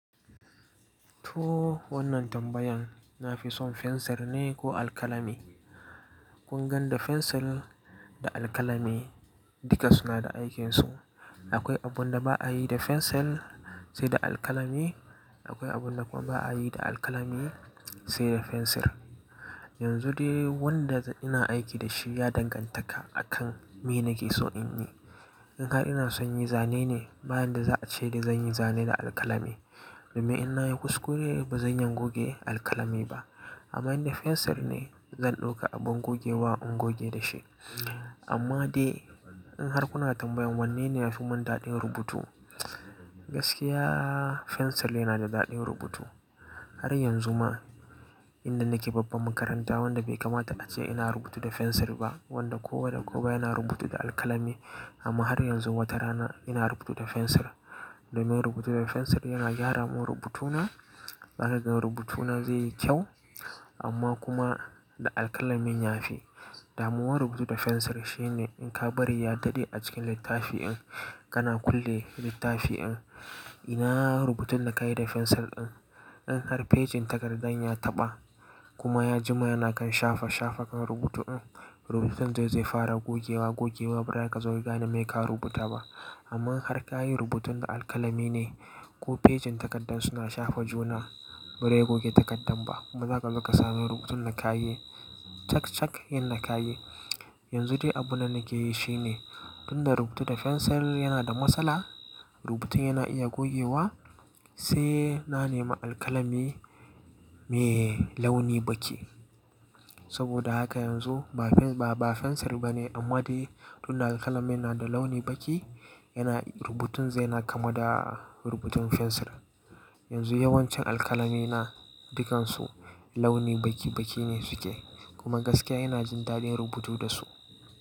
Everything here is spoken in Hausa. To wannan tambayan na fi son fensir ne ko alkalami. Kungan da fensir da alkalami duka suna da aikinsu. Akwai abun da ba a yi da fensir sai da alkalami, akwai abunda kuma ba a yi da alkalami sai da fensir. Yanzu dai wanda ina aiki da shi ya dangantaka akan me nake so in yi. In har ina son yi zane ne, bayan da za a ce da zan yi zane da alkalami. Domin in na yi kuskure ba zan iya goge alkalami ba. Amma in da fensir ne, zan ɗauka abin gogewa in goge da shi. Amma dai in har kuna tambayan wanne ne ya fimin daɗin rubutu, gaskiya fensir yana da daɗin rubutu. Har yanzu ma inda nake babban makaranta wanda bai kamata a ce ina rubutu da fensir ba, wanda kowa da kowa yana rubutu da alkalami. Amma har yanzu wata rana ina rubutu da fensir. Domin rubutu da fensir yana gyara mun rubutuna, zaka gan rubutuna zai yi kyau amma kuma da alkalamin yafi. Damuwar rubutu da fensir shine in ka bari ya daɗe a cikin littafi in kana kulle littafi in, ina rubutun da ka yi da fensir in, in har fejin takardar ya taɓa kuma ya jima yana kan shafa shafa kan rubutu in, rubutun zai fara gogewa gogewa bari ka zo ka gane me ka rubuta ba. Amma har ka yi rubutun da alkalami ne ko fejin takardar suna shafa juna, bare goge takardar ba kuma za ka zo ka sami rubutun da ka yi cak cak yanda ka yi. Yanzu dai abuna nake yi shine, tunda rubutu da fensir yana da matsala, rubutun yana iya gogewa sai na nemi alkalami mai launi baki saboda haka yanzu ba fensir ba fensir bane amma dai tunda alkalami yana da launi baki, yana rubutun zai yana kama da rubutun fensir. Yanzu yawancin alkalamina dukansu launi baki baki ne suke kuma gaskiya ina jin daɗin rubutu da su.